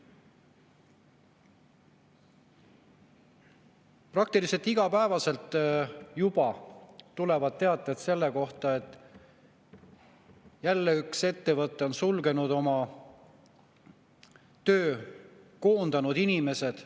Juba praktiliselt igapäevaselt tulevad teated selle kohta, et jälle üks ettevõte on sulgenud oma töö, koondanud inimesed.